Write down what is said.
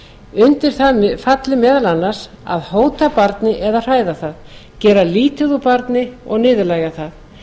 undir það falli meðal annars að hóta barni eða hræða það gera lítið úr barni og niðurlægja það